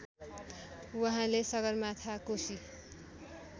उहाँले सगरमाथा कोशी